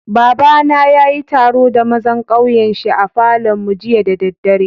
Baba na ya yi taro da mazan kauyen shi a Falo'n mu jiya da dare.